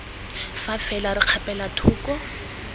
fa fela re kgapela thoko